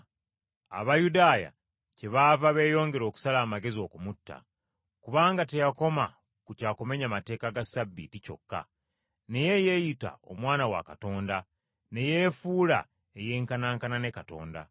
Abayudaaya kyebaava beeyongera okusala amagezi okumutta, kubanga teyakoma ku kya kumenya mateeka ga Ssabbiiti kyokka, naye yeeyita Omwana wa Katonda, ne yeefuula eyenkanaankana ne Katonda.